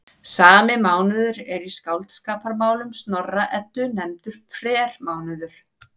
Sami mánuður er í Skáldskaparmálum Snorra-Eddu nefndur frermánuður.